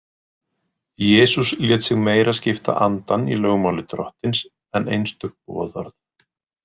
Jesús lét sig meira skipta andann í lögmáli Drottins en einstök boðorð.